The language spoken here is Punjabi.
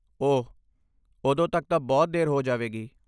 ਓਹ ਉਦੋਂ ਤੱਕ ਤਾਂ ਬਹੁਤ ਦੇਰ ਹੋ ਜਾਵੇਗੀ।